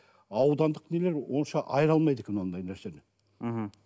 аудандық нелер онша айыра алмайды екен ондай нәрсені мхм